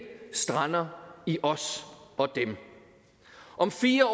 strander i os og dem om fire